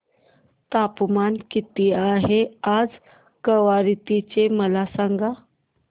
तापमान किती आहे आज कवारत्ती चे मला सांगा